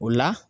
O la